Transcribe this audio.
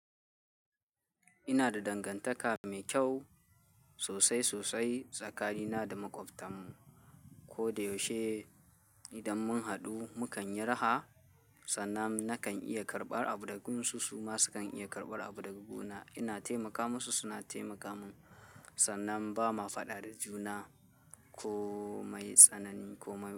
Ina da dangantaka mai kyau sosai sosai tsakanina da maƙwabtan mu. Ko da yaushe idan mun haɗu mukan yi raha, sannan nakan iya karɓar abu daga su, su ma sukan iya karɓar abu daga guna. Ina taimaka musu, suna taimaka mun sannan ba ma faɗa da juna ko mai tsanani ko mai.